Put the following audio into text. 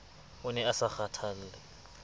o ne a sa kgathalle